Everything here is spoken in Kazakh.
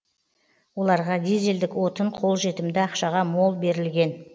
оларға дизельдік отын қолжетімді ақшаға мол берілген